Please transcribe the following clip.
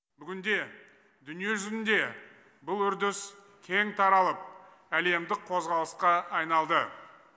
бүгінде дүние жүзінде бұл үрдіс кең таралып әлемдік қозғалысқа айналды